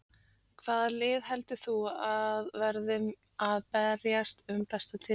Hvaða lið heldur þú að verði að berjast um titilinn?